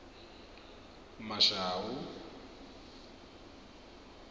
mashau